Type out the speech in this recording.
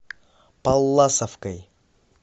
палласовкой